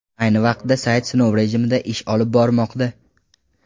Ayni vaqtda sayt sinov rejimida ish olib bormoqda.